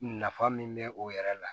Nafa min be o yɛrɛ la